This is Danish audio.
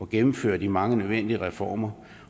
gennemføre de mange nødvendige reformer